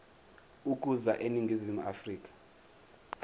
ukuza eningizimu afrika